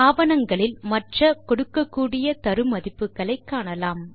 ஆவணங்களில் மற்ற கொடுக்கக்கூடிய தரு மதிப்புகளை காணலாம்